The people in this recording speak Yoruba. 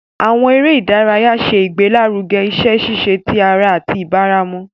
Àwọn eré ìdárayá ṣe ìgbélaruge iṣẹ ṣiṣe tí ará àti ìbaràmú.